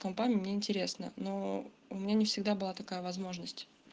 компами мне интересно но у меня не всегда была такая возможность